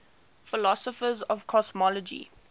philosophers of cosmology